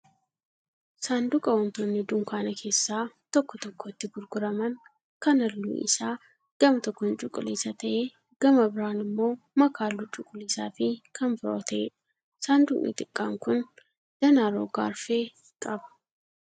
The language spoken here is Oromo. Saanduqa wantoonni dunkaana keessaa tokko tokko itti gurguraman kan halluu isaa gama tokkoon cuquliisa ta'ee gama biraan immoo makaa halluu cuquliisaa fi kan biroo ta'eedha. Saanduqni xiqqaan kun danaa roga arfee qaba.